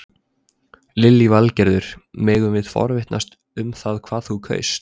Lillý Valgerður: Megum við forvitnast um hvað þú kaust?